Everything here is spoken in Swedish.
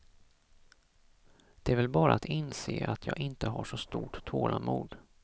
Det är väl bara att inse att jag inte har så stort tålamod.